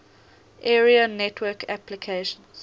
area network applications